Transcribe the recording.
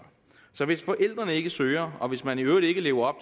så hvis forældrene ikke søger og hvis man i øvrigt ikke lever